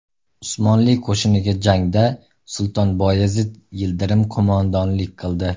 Usmonli qo‘shiniga jangda Sulton Boyazid Yildirim qo‘mondonlik qildi.